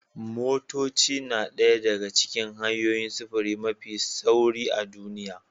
Motoci na ɗaya daga cikin hanyoyin sufuri mafi sauri a duniya